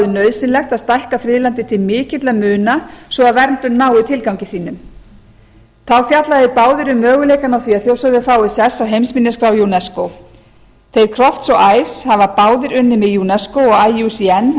nauðsynlegt að stækka friðlandið til mikilla muna svo að verndun nái tilgangi sínum þá fjalla þeir báðir um möguleikana á því að þjórsárver fái sess á heimsminjaskrá unesco þeir crofts og ives hafa báðir unnið með unesco og iucn